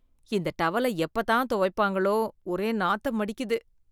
இந்த டவல எப்பத் தான் துவைப்பாங்களோ ஒரே நாத்தம் அடிக்குது.